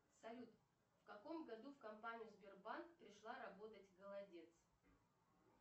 салют в каком году в компанию сбербанк пришла работать голодец